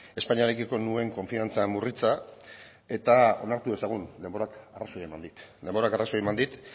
espainiarekiko nuen konfiantza murritza eta onartu dezagun denborak arrazoia eman dit denborak arrazoia eman dit